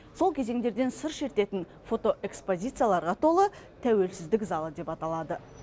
сол кезеңдерден сыр шертетін фотоэкспозицияларға толы тәуелсіздік залы деп аталады